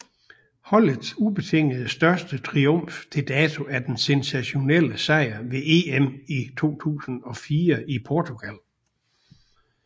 Holdets ubetinget største triumf til dato er den sensationelle sejr ved EM i 2004 i Portugal